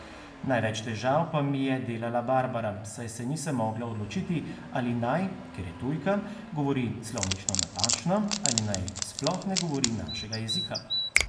Največ težav pa mi je delala Barbara, saj se nisem mogla odločiti, ali naj, ker je tujka, govori slovnično napačno ali naj sploh ne govori našega jezika.